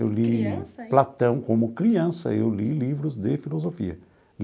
Eu li. Criança ainda? Platão, como criança, eu li livros de filosofia.